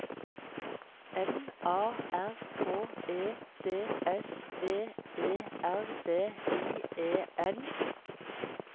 M A R K E D S V E R D I E N